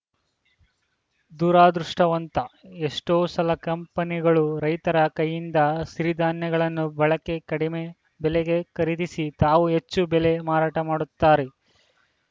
ದುರದೃಷ್ಟವಂತ ಎಷ್ಟೋ ಸಲ ಕಂಪೆನಿಗಳು ರೈತರ ಕೈಯಿಂದ ಸಿರಿಧಾನ್ಯಗಳನ್ನು ಬಳಕೆ ಕಡಿಮೆ ಬೆಲೆಗೆ ಖರೀದಿಸಿ ತಾವು ಹೆಚ್ಚು ಬೆಲೆ ಮಾರಾಟ ಮಾಡುತ್ತಾರೆ